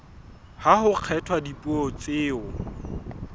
ha ho kgethwa dipuo tseo